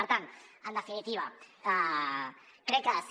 per tant en definitiva crec que ha de ser